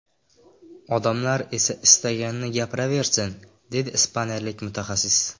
Odamlar esa istaganini gapiraversin”, – dedi ispaniyalik mutaxassis.